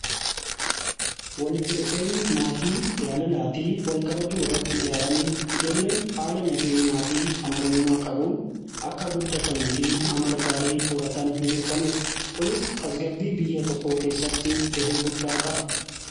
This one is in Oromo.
Walitti dhufeenyi maatii jaalalaa fi walkabajuu irratti ijaarame ijoolleen haala nageenyaa fi amanamummaa qabuun akka guddatanii fi amala gaarii horatan ni mirkaneessa kunis tasgabbii biyya tokkoo keessatti gahee guddaa qaba.